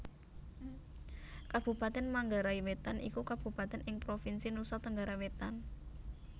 Kabupatèn Manggarai Wétan iku kabupatèn ing Provinsi Nusa Tenggara Wétan